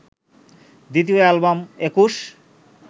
দ্বিতীয় এ্যালবাম ২১